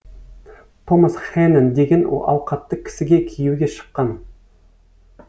томас хэнен деген ауқатты кісіге күйеуге шыққан